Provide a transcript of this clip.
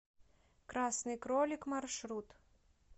красный кролик маршрут